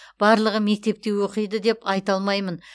барлығы мектепте оқиды деп айта алмаймын